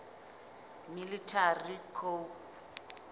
military coup